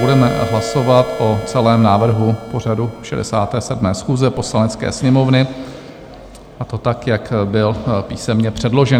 Budeme hlasovat o celém návrhu pořadu 67. schůze Poslanecké sněmovny, a to tak, jak byl písemně předložen.